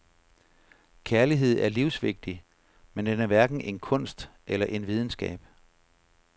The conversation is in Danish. Kærlighed er livsvigtig, men den er hverken en kunst eller en videnskab.